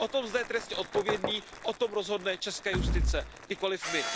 O tom, zda je trestně odpovědný, o tom rozhodne česká justice, nikoli my.